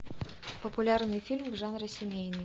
популярный фильм в жанре семейный